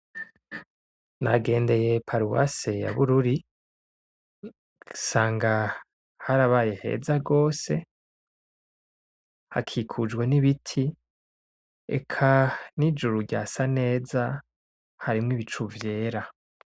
Nagendeye paruwase ya bururi nsanga harabaye heza gose, hakikujwe n'ibiti, eka n'ijuru ryasa neza harimwo ibicu vyera.